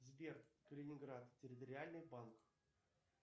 сбер калининград территориальный банк